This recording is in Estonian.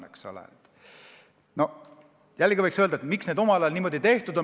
Miks see omal ajal niimoodi tehti?